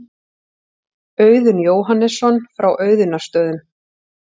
Auðunn Jóhannesson frá Auðunnarstöðum.